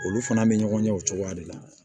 Olu fana bɛ ɲɔgɔn ɲɛ o cogoya de la